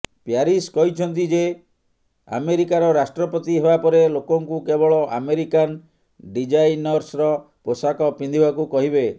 Paris କହିଛନ୍ତି ଯେ ଆମେରିକାର ରାଷ୍ଟ୍ରପତି ହେବା ପରେ ଲୋକଙ୍କୁ କେବଳ ଆମେରିକାନ ଡିଜାଇନର୍ସର ପୋଷାକ ପିନ୍ଧିବାକୁ କହିବେ